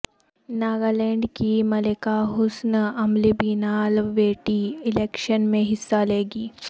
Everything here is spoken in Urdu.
ناگالینڈ کی ملکہ حسن املیبنلا وٹی الیکشن میں حصہ لیں گی